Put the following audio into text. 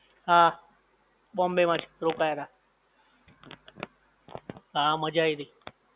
હા બોમ્બે માં જ રોકાયેલા. હા મજા આવી હતી.